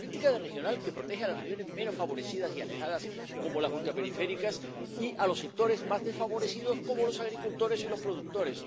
la política regional, que protege a las regiones menos favorecidas y alejadas, como las ultraperiféricas, y a los sectores más desfavorecidos, como los agricultores y los productores.